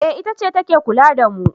eh itace ta ke kula da mu